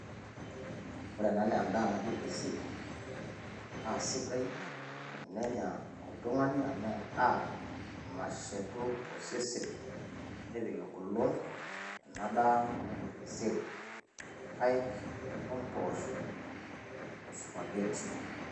ore ena naa edaa naji orkeseri, naa sidai tenenya oltungani amu edaa nashetu osesen, nepik egolon ena daa naji orkeseri. irpaek, ompoosho osupagheti.